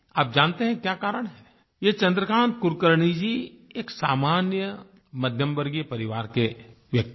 आप जानते हैं क्या कारण है ये चन्द्रकान्त कुलकर्णी जी एक सामान्य मध्यमवर्गीय परिवार के व्यक्ति हैं